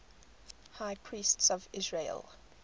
high priests of israel